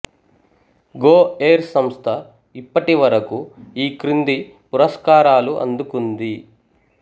go Air సంస్థ ఇప్పటి వరకు ఈ క్రింది పురస్కారాలు అందుకుంది